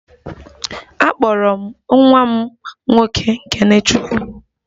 A kpọrọ m nwa m nwoke 'kenechukwu'